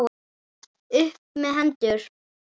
Upp með hendur!